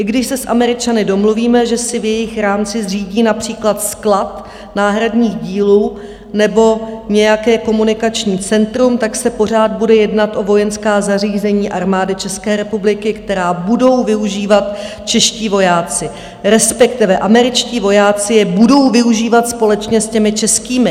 I když se s Američany domluvíme, že si v jejich rámci zřídí například sklad náhradních dílů nebo nějaké komunikační centrum, tak se pořád bude jednat o vojenská zařízení Armády České republiky, která budou využívat čeští vojáci, respektive američtí vojáci je budou využívat společně s těmi českými.